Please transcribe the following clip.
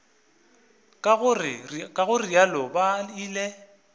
ka go realo ba ile